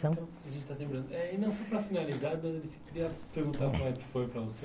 A gente está terminando. Eh e não, só para finalizar, eu queria perguntar como é que foi para você